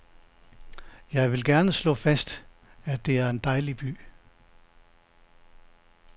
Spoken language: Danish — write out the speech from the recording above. Jeg vil gerne slå fast, at det er en dejlig by.